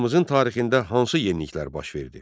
Xalqımızın tarixində hansı yeniliklər baş verdi?